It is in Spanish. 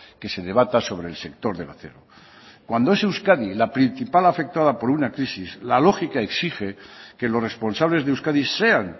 que se debata sobre el sector del acero cuando es euskadi la principal afectada por una crisis la lógica exige que los responsables de euskadi sean